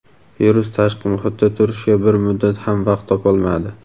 Virus tashqi muhitda turishga bir muddat ham vaqt topolmadi.